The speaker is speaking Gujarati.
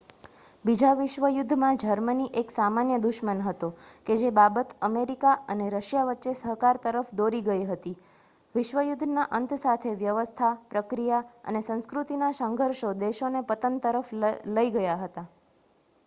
બીજા વિશ્વ યુદ્ધમાં જર્મની એક સામાન્ય દુશ્મન હતો કે જે બાબત અમેરિકા અને રશિયા વચ્ચે સહકાર તરફ દોરી ગઈ હતી વિશ્વ યુદ્ધના અંત સાથે વ્યવસ્થા પ્રક્રિયા અને સંસ્કૃતિનાં સંઘર્ષો દેશોને પતન તરફ લઇ ગયા હતા